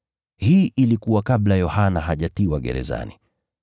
(Hii ilikuwa kabla Yohana hajatiwa gerezani).